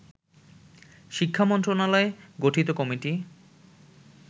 শিক্ষা মন্ত্রণালয় গঠিত কমিটি